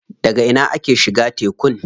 Daga ina ake shiga tekun?